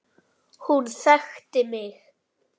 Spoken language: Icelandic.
Hún þekkti mig.